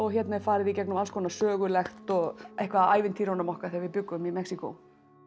hérna er farið í gegnum alls konar sögulegt og eitthvað af ævintýrum okkar þegar við bjuggum í Mexíkó